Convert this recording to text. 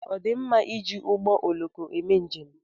Ọ dị mma iji ụgbọ ọloko eme njem?